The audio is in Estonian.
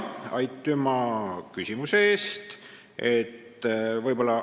Aitüma küsimuse eest!